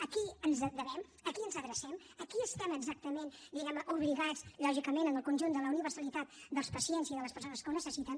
a qui ens devem a qui ens adrecem aquí estem exactament diguem ne obligats lògicament amb el conjunt de la universalitat dels pacients i de les persones que ho necessiten